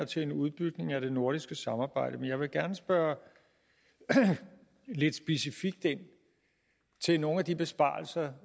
til en udbygning af det nordiske samarbejde men jeg vil gerne spørge lidt specifikt ind til nogle af de besparelser